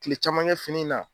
Kile caman kɛ fini na.